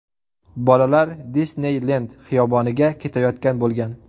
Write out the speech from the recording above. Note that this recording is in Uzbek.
Bolalar Disneylend xiyoboniga ketayotgan bo‘lgan.